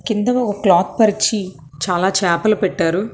కింద ఒక క్లాత్ పరిచి చాలా చాపలు పెట్టారు.